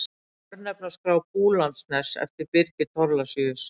Örnefnaskrá Búlandsness eftir Birgi Thorlacius.